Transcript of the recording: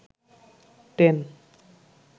ten